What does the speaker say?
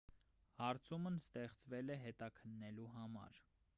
հարցումն ստեղծվել է հետաքննելու համար